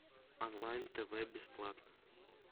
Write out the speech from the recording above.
онлайн тв бесплатно